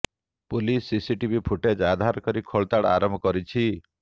police CCTV footage ଆଧାର କରି ଖୋଳତାଡ଼ ଆରମ୍ଭ କରିଛି